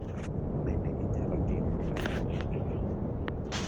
bende inyalo timo taja wendno